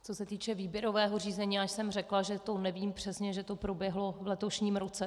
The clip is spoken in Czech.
Co se týče výběrového řízení, já jsem řekla, že to nevím přesně, že to proběhlo v letošním roce.